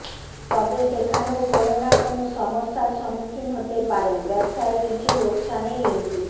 তবে সেখানেও কোন না কোন সমস্যার সম্মুখীন হতে পারেন ব্যবসায়ে কিছু লোকসানের ইঙ্গিত